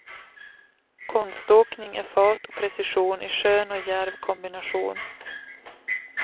Konståkning är fart och precision i skön och djärv kombination.